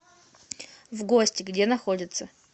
вгости где находится